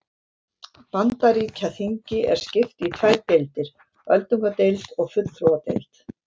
Bandaríkjaþingi er skipt í tvær deildir, öldungadeild og fulltrúadeild.